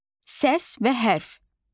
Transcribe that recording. Səs və hərf.